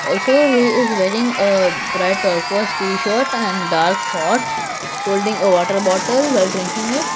also he is wearing a bright tarquwash t-shirt and dark shorts holding a water bottle while drinking it.